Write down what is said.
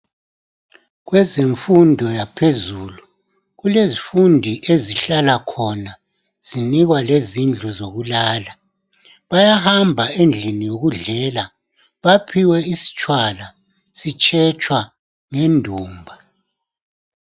Kwezifundo zaphezulu, kulezifundi ezihlala khona zinikwa lezindlu zokulala. Bayahamba endlini yokudlela baphiwe istshwala sitshetshwa ngendumba.